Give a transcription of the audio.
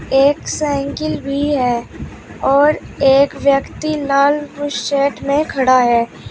एक साइकिल भी है और एक व्यक्ति लाल बुसेट में खड़ा है।